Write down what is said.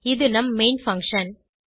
இது நம் main function